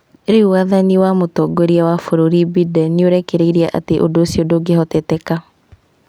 Rĩu wathani wa mũtongoria wa bũrũri Biden nĩũrekereirie atĩ ũndũ ũcio ndũngĩhoteteka